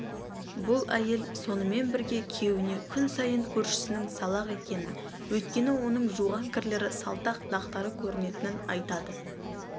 бұл әйел сонымен берге күйеуіне күн сайын көршісінің салақ екенін өйткені оның жуған кірлері салтақ дақтар көрінетінін айтады